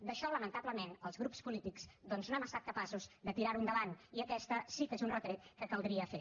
això lamentablement els grups polítics no hem estat capaços de tirar ho endavant i aquest sí que és un retret que caldria fer